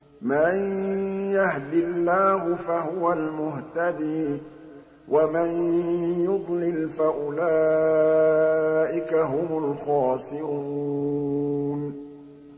مَن يَهْدِ اللَّهُ فَهُوَ الْمُهْتَدِي ۖ وَمَن يُضْلِلْ فَأُولَٰئِكَ هُمُ الْخَاسِرُونَ